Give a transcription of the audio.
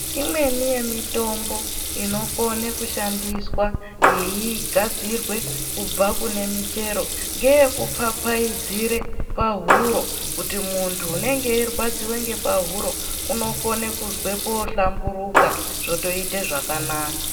Imweni yemitombo inokona kushandiswa inokona kugadzirwa yeibva ngekumuchero ngeyekupfapfaidzira pahuro kuti muntu unenge eirwadziwa pahuro unokona kuzwe zvakanaka.